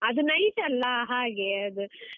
ಅದು night ಅಲ್ಲ ಹಾಗೆ ಅದು.